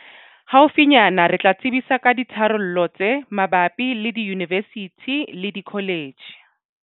Haufinyana re tla tsebisa ka ditharollo tse mabapi le diyunivesithi le dikoletjhe.